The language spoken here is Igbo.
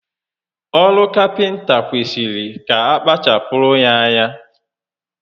Oru Kapịnta kwesịrị ka akpachapụrụ ya ányá